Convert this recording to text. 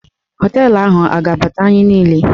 Họteelụ ahụ a ga-abata anyị niile?